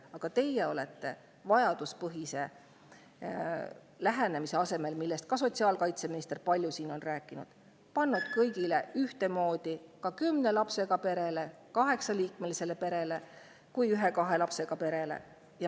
Aga vajaduspõhise lähenemise asemel, millest ka sotsiaalkaitseminister on siin palju rääkinud, olete te pannud kõigile ühtemoodi: nii kümne lapsega perele, kaheksaliikmelisele perele kui ka ühe-kahe lapsega perele.